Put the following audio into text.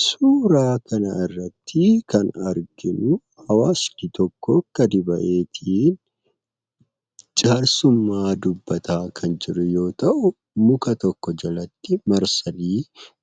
Suuraa kanarratti kan arginuu, hawaasni tokko gadi baheetii jaarsummaa dubbataa kan jiru yoo ta'u, muka tokko jalatti marsani